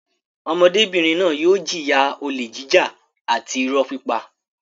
Ọmọdébìnrin náà yóò jìyà olè jíjà àti ìrọ́ pípa.